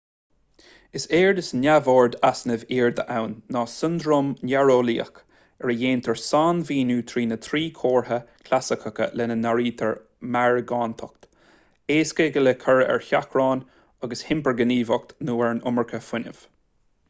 is éard is neamhord easnaimh airde ann ná siondróm néareolaíoch ar a ndéantar sainmhíniú trína thrí chomhartha chlasaiceacha lena n-áirítear meargántacht éasca le cur ar seachrán agus hipirghníomhaíocht nó an iomarca fuinnimh